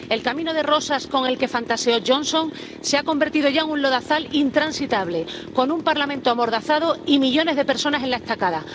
El camino de rosas con el que fantaseó Johnson se ha convertido ya en un lodazal intransitable, con un Parlamento amordazado y millones de personas en la estacada.